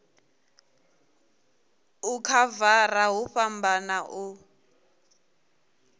u khavara hu fhambana u